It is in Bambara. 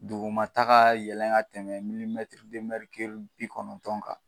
Dugumata ka yɛlɛn ka tɛmɛ bi kɔnɔntɔn kan